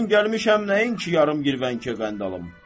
Mən gəlmişəm nəyin ki, yarım girvənkə qənd alım.